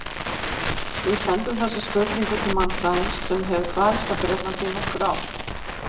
Við sendum þessa spurningu til mannfræðings sem hefur dvalist á Bretlandi í nokkur ár.